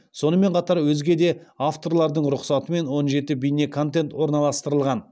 сонымен қатар өзге де авторлардың рұқсатымен он жеті бейнеконтент орналастырылған